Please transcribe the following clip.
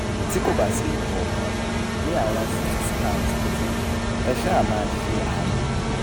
tí kò bá sí ikọ̀kàn ní àwọn ct scans tuntun ẹ ṣáá máa ṣe àánú